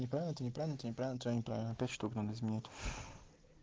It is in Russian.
это неправильно то неправильно то неправильно неправильно пять штук надо изменять